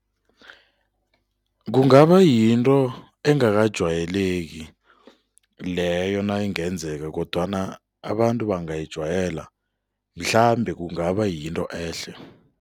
Kungaba yinto engakajwayeleki leyo nayingenzeka kodwana abantu bangayijwayela, mhlambe kungaba yinto ehle.